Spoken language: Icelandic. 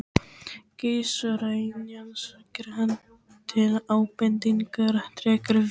Keisaraynjan segir hann til ábendingar, drekkur vín